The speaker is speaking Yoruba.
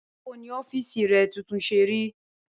Báwo ni ó̩fíìsì re̩ tuntun s̩e rí?